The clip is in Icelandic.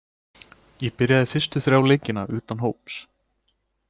Ég byrjaði fyrstu þrjá leikina utan hóps.